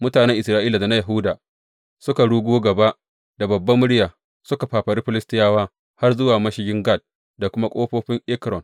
Mutanen Isra’ila da na Yahuda suka rugo gaba da babbar murya, suka fafari Filistiyawa har zuwa mashigin Gat da kuma ƙofofin Ekron.